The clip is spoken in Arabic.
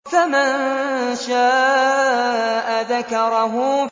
فَمَن شَاءَ ذَكَرَهُ